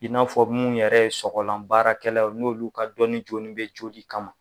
In n'a fɔ minnu yɛrɛ ye sɔgɔlan baarakɛlaw n'olu ka dɔnni jolen bɛ joli kama.